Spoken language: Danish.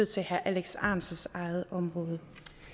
til herre alex ahrendtsens eget område